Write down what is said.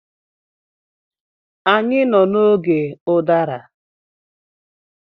Anyị nọ n'oge ụdara.